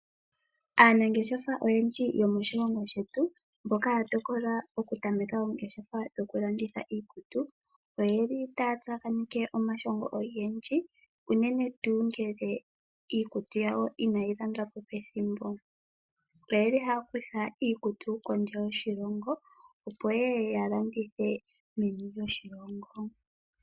Aanangeshefa oyendji yomoshilongo shetu mboka ya tokola Okutameka oongeshefa ngele iikutu yawo inayi landwapo pethimbo . Oyeli haya kutha iikutu kondje yoshilongo opo yeye ya landithe meni lyoshilongo.